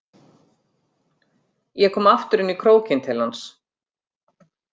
Ég kom aftur inn í krókinn til hans.